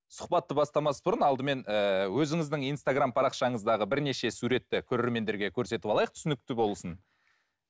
сұхбатты бастамас бұрын алдымен ііі өзіңіздің инстаграмм парақшаңыздағы бірнеше суретті көрермендерге көрсетіп алайық түсінікті болсын